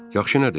Yaxşı nədir?